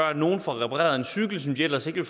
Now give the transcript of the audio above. at nogen får repareret en cykel som de ellers ikke